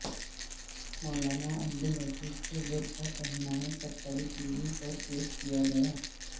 مولانا عبدالعزیز کو برقعہ پہنائے سرکاری ٹی وی پر پیش کیا گیا